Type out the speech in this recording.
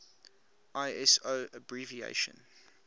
iso abbreviation